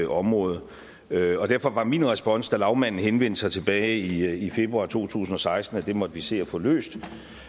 område derfor var min respons da lagmanden henvendte sig tilbage i februar to tusind og seksten at det måtte vi se at få løst